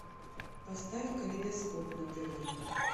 поставь калейдоскоп на тв